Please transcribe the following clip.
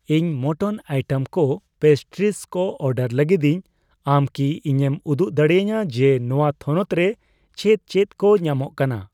ᱤᱧ ᱢᱚᱴᱚᱱ ᱤᱭᱴᱮᱢ ᱠᱚ, ᱯᱮᱥᱴᱨᱤᱥ ᱠᱚ ᱚᱰᱟᱨ ᱞᱟᱹᱜᱤᱫᱤᱧ, ᱟᱢ ᱠᱤ ᱤᱧᱮᱢ ᱩᱫᱩᱜ ᱫᱟᱲᱮᱭᱟᱧᱟ ᱡᱮ ᱱᱚᱣᱟ ᱛᱷᱚᱱᱚᱛ ᱨᱮ ᱪᱮᱫ ᱪᱮᱫ ᱠᱚ ᱧᱟᱢᱚᱜ ᱠᱟᱱᱟ ?